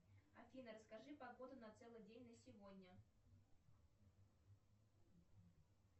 афина расскажи погоду на целый день на сегодня